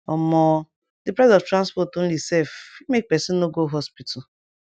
omo d price of transport onli sef fit make pesin no go hospital